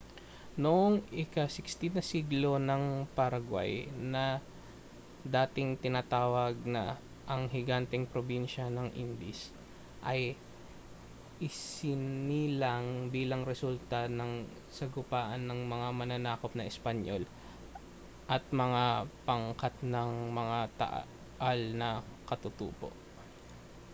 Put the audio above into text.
noong ika-16 na siglo ang paraguay na dating tinatawag na ang higanteng probinsya ng indies ay isinilang bilang resulta ng sagupaan ng mga mananakop na espanyol at mga pangkat ng mga taal na katutubo